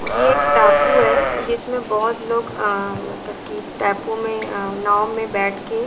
ये एक टापू है जिसमें बहुत लोग अ मतलब की टापू में अ नाव में बैठ के --